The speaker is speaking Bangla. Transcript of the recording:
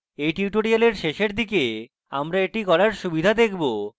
এই tutorial শেষের দিকে আমরা এটি করার সুবিধা দেখব